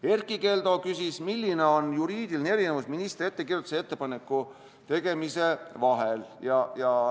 Erkki Keldo küsis, milline on juriidiline erinevus ministri ettekirjutuse ja ettepaneku tegemise vahel.